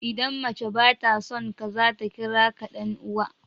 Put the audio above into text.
Idan mace ba ta son ka, za ta kira ka "Dan uwa."